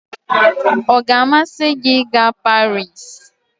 ọ ga-amasị gị ịga Paris?